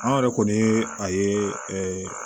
An yɛrɛ kɔni ye a ye